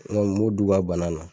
n m'o d'u ka bana na.